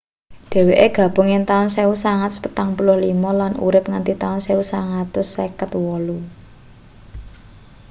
dheweke gabung ing taun 1945 lan urip nganti taun 1958